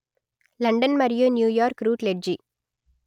London మరియు New York route లెడ్జి